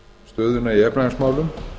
stöðuna í efnahagsmálum